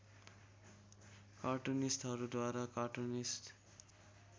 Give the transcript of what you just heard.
कार्टुनिस्टहरूद्वारा cartoonist